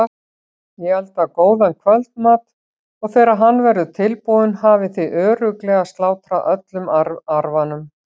Ég elda góðan kvöldmat og þegar hann verður tilbúinn hafið þið örugglega slátrað öllum arfanum.